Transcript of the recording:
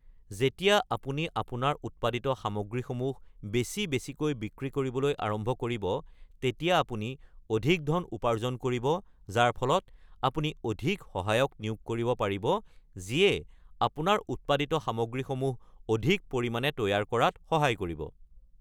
যেতিয়া আপুনি আপোনাৰ উৎপাদিত সামগ্ৰীসমূহ বেছি বেছিকৈ বিক্ৰী কৰিবলৈ আৰম্ভ কৰিব, তেতিয়া আপুনি অধিক ধন উপাৰ্জন কৰিব, যাৰ ফলত আপুনি অধিক সহায়ক নিয়োগ কৰিব পাৰিব যিয়ে আপোনাৰ উৎপাদিত সামগ্ৰীসমূহ অধিক পৰিমাণে তৈয়াৰ কৰাত সহায় কৰিব।